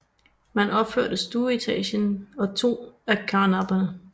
Man opførte stueetagen og to af karnapperne